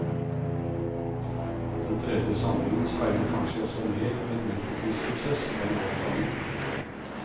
Den tredje samlingen speiler kanskje også mer en utviklingsprosess enn avklaringen.